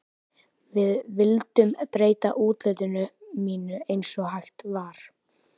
Við vildum breyta útliti mínu eins og hægt var.